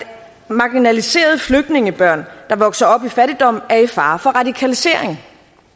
marginaliserede flygtningebørn der vokser op i fattigdom er i fare for radikalisering